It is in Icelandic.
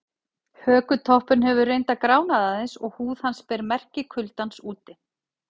Hökutoppurinn hefur reyndar gránað aðeins og húð hans ber merki kuldans úti.